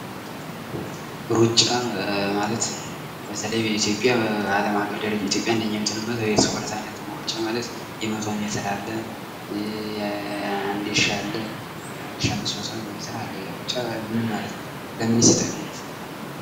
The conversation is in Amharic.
እሩጫ ማለት በአለም አቀፍ ደረጃ ኢትዮጵያ አንደኛ የምትወጣበት የስፖርት አይነት ነው። እሩጫ ማለት የመቶ ሜትር አለ የአንድ ሺ አለ የአንድሺ አምስት መቶ ሜትር አለ። እሩጫ ምን ማለት ነው ለምንስ ይጠቅማል?